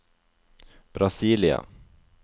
Brasília